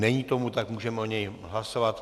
Není tomu tak, můžeme o něm hlasovat.